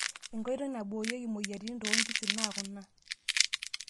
Nkoitoi naiboorieki moyiaritin too nkishu naa kuna;